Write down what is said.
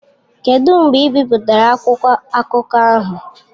Kedụ mgbe ebipụtara akwụkwọ akụkọ ahụ?